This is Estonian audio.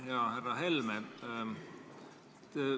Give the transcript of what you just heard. Hea härra Helme!